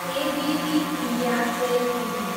ABB India Ltd